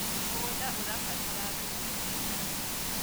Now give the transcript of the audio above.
mũgũnda ũrabatara thumu wa iwanda